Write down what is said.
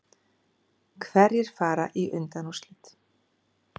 Hverjir fara í undanúrslit